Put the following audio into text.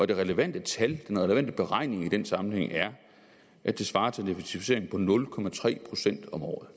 det relevante tal den relevante beregning i den sammenhæng er at det svarer til en effektivisering på nul procent om året